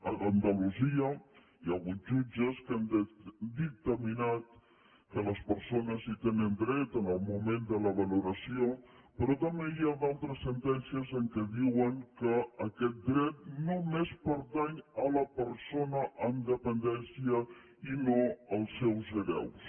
a andalusia hi ha hagut jutges que han dictaminat que les persones hi tenen dret en el moment de la valoració però també hi ha d’altres sentències que diuen que aquest dret només pertany a la persona amb dependència i no als seus hereus